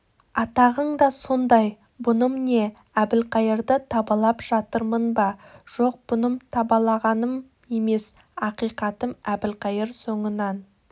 атағың да сондай бұным не әбілқайырды табалап жатырмын ба жоқ бұным табалағаным емес ақиқатым әбілқайыр соңынан